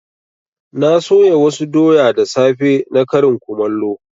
Na soya wasu doya da safe na karin kumallo.